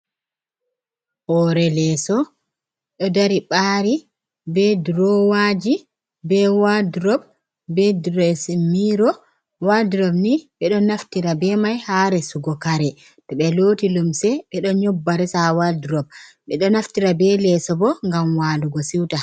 Hore leeso ɗo dari ɓari be durowaji, be wardrop, be dressing mirrow. Wardrop ni ɓeɗo naftira be mai ha resugo kare, to ɓe loti lumse ɓe ɗo nyobba resa wardrop. Ɓe ɗo naftira ɓe leso bo, gam walugo siwta.